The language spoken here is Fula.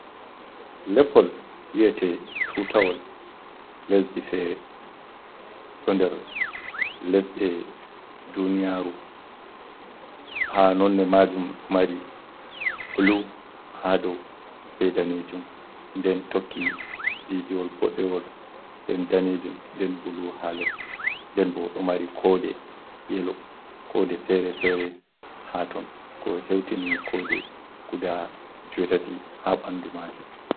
Leppol wi’ete tutawol lesdi fere, ɗo nder lesɗe duniyaru haa nonne majum ɗo mari bulu haa do be danejum nden tokki didiwol boɗewol nden danejum nden bulu haa les nden ɓo ɗo mari kode yelo kode fere-fere haton ko heutini kode guda jewetati haa ɓandu maajum.